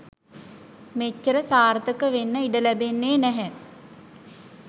මෙච්චර සාර්ථක වෙන්න ඉඩ ලැබෙන්නේ නැහැ.